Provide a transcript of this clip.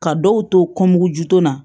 Ka dɔw to juto na